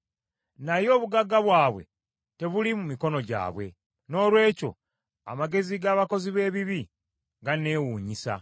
Naye obugagga bwabwe tebuli mu mikono gyabwe, noolwekyo amagezi g’abakozi b’ebibi ganneewunyisa.